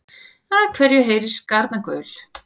Af hverju heyrist garnagaul?